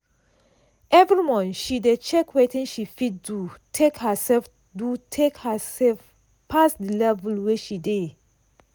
every month she dey check wetin she fit do take herself do take herself pass the level wey she dey.